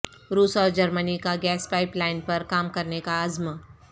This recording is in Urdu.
روس اور جرمنی کا گیس پائپ لائن پر کام کرنے کا عزم